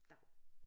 Dav